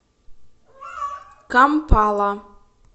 кампала